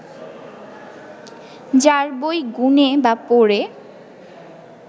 যার বই গুনে বা পড়ে